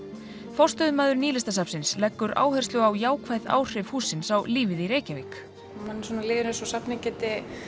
forstöðumaður Nýlistasafnsins leggur áherslu á jákvæð áhrif hússins á lífið í Reykjavík manni líður eins og safnið geti